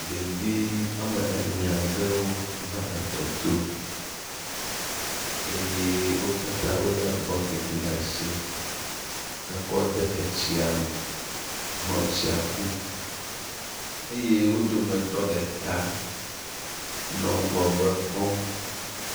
Ɖevi wɔme ene aɖewo va etɔ to eye wo katã wo le bɔkiti ɖe asi hekɔ de etsia me nɔ tsia kum eye wo dometɔ ɖeka nɔ ŋgɔgbe kpɔm.